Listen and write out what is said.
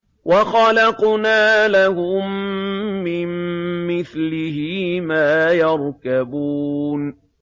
وَخَلَقْنَا لَهُم مِّن مِّثْلِهِ مَا يَرْكَبُونَ